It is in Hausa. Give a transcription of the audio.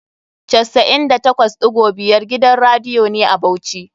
98.5 gidan radiyo ne a Bauchi.